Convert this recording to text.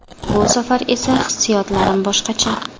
Bu safar esa hissiyotlarim boshqacha.